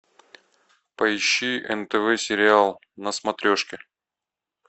поищи нтв сериал на смотрешке